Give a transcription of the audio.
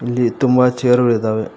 ಇಲ್ಲಿ ತುಂಬ ಚೇರ್ ಗಳು ಇದಾವೆ.